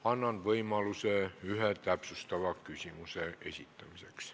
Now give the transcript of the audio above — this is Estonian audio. Annan võimaluse ühe täpsustava küsimuse esitamiseks.